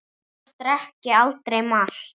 Annars drekk ég aldrei malt.